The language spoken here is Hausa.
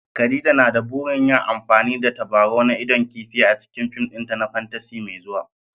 Khadija na da burin yin amfani da tabarau na idon kifi a cikin fim ɗinta na fantasy mai zuwa